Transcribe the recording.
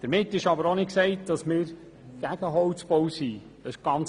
Damit ist aber nicht gesagt, dass wir gegen den Holzbau sind.